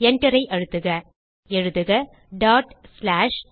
Enterஐ அழுத்துக எழுதுக str1